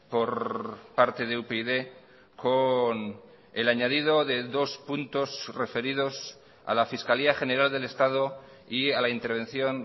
por parte de upyd con el añadido de dos puntos referidos a la fiscalía general del estado y a la intervención